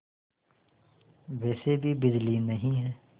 वैसे भी बिजली नहीं है